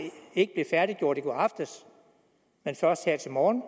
ikke blev færdiggjort i går aftes men først her til morgen